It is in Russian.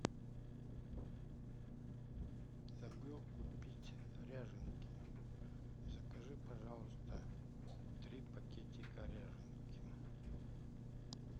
забыл купить ряженки закажи пожалуйста три пакетика ряженки